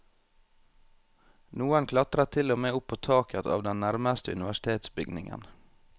Noen klatret til og med opp på taket av den nærmeste universitetsbygningen.